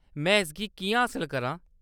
में इसगी किʼयां हासल करां ?